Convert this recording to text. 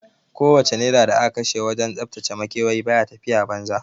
Ko wace naira da aka kashe wajen tsaftace makewayi baya tafiya banza